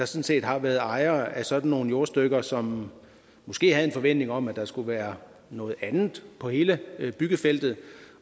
set har været ejere af sådan nogle jordstykker som måske havde en forventning om at der skulle være noget andet på hele byggefeltet